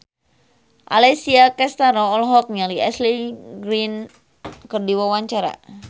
Alessia Cestaro olohok ningali Ashley Greene keur diwawancara